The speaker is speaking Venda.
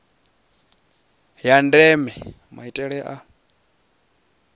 ya ndeme maitele a